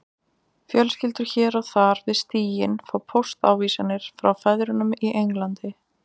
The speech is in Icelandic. Fjölskyldur hér og þar við stíginn fá póstávísanir frá feðrunum í Englandi